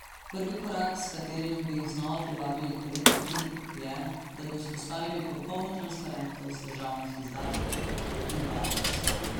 Prvi korak, s katerim bi jih znova zvabili k politiki, je, da bi vzpostavili popolno transparentnost državnih izdatkov, trdi Bartos.